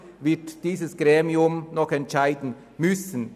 Darüber wird dieses Gremium noch entscheiden müssen.